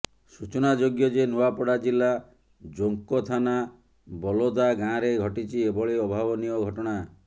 ସୂଚନାଯୋଗ୍ୟ ଯେ ନୂଆପଡା ଜିଲ୍ଲା ଜୋଙ୍କ ଥାନା ବଲୋଦା ଗାଁରେ ଘଟିଛି ଏଭଳି ଅଭାବନୀୟ ଘଟଣା